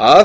að